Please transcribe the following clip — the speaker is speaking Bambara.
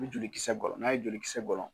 Be joli kisɛ gɔlɔn n'a ye joli kisɛ gɔlɔn